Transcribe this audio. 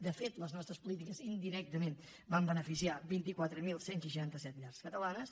de fet les nostres polítiques indirectament van beneficiar vint quatre mil cent i seixanta set llars catalanes